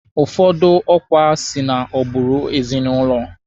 Ụfọdụ ọkwa si na agbụrụ ezinụlọ.